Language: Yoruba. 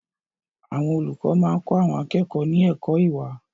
Àwọn olùkọ́ máa kọ àwọn akẹ́kọ̀ọ́ ní ẹ̀kọ́ ìwà.